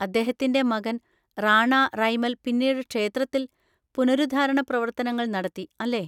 അദ്ദേഹത്തിന്‍റെ മകൻ റാണാ റൈമൽ പിന്നീട് ക്ഷേത്രത്തിൽ പുനരുദ്ധാരണ പ്രവർത്തനങ്ങൾ നടത്തി, അല്ലേ?